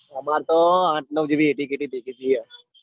અમર તો આત નવ જેવી એટી કેટી ભેગી થઇ હ.